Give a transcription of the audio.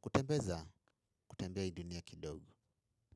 kutembeza kutembea hii dunia kidogo.